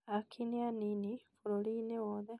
Aaki nĩ anini bũrũri-inĩ wothe